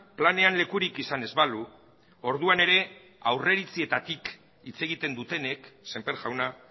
planean lekurik izan ez balu orduan ere aurreiritzietatik hitz egiten dutenek semper jauna